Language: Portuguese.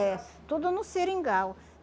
É, tudo no Seringal.